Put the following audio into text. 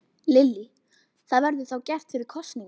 Lillý: Það verður þá gert fyrir kosningar?